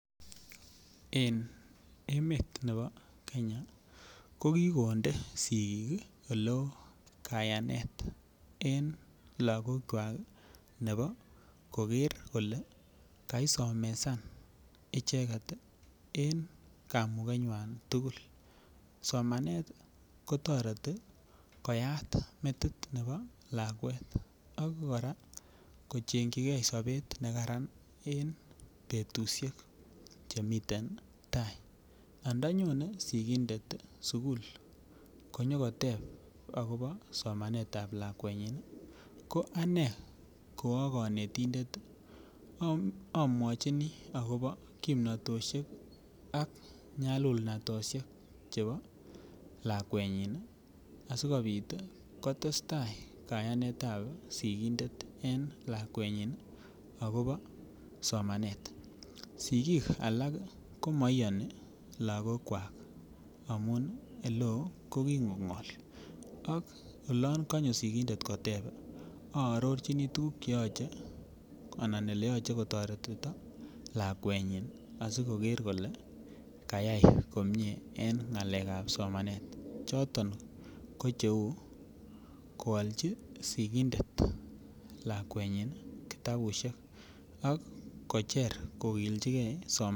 En emet nebo kenya ko kikonde sigik ole oo kayanet logokwak nebo koger kole kaisomesan icheget en kamukenywan tugul somanet ii kotoreti koyat metit nebo lakwet ak koraa kochengyigee sobet nekaran en betusiek chemiten tai andanyone sigindet sukul konyo koteb akobo somanetab lakwenyin ii ko anee ko oo konetindet ii omeochini akobo kimnotoshek ak nyalulnatoshek akobo lakwenyin ii asikopit kotesta kayanetab sigindet en lakwenyin akobo somanet. Sigik alak komo iyoni logokwak amun ele oo ko kigongol, ako olon konyo sigindet kotep oororjini tuguk che yoche anan ele yoche kotoretito lakwenyin asi koger kole kayay komie en ngalekab somanet choton ko che uu kwolji sigindet lakwenyin kitabishek ak kocher kogiljigee somanet